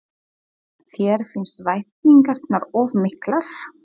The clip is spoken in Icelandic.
Þér finnst væntingarnar of miklar?